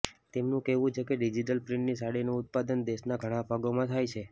તેમનું કહેવું છે કે ડીજીટલ પ્રિન્ટની સાડીનું ઉત્પાદન દેશના ઘણા ભાગોમાં થાય છે